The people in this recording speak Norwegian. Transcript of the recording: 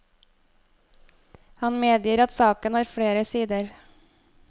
Han medgir at saken har flere sider.